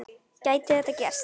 Gæti þetta gerst?